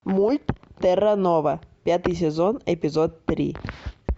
мульт терранова пятый сезон эпизод три